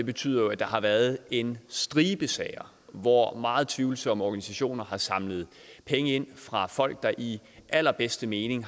betyder jo at der har været en stribe sager hvor meget tvivlsomme organisationer har samlet penge ind fra folk der i allerbedste mening